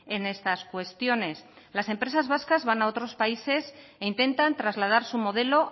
en estas cuestiones las empresas vascas van a otros países e intentan trasladar su modelo